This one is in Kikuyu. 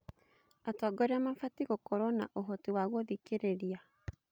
Atongoria mabatiĩ gũkorwo na ũhoti wa gũthikĩrĩria.